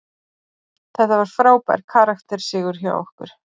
Þetta var frábær karakter sigur hjá okkur.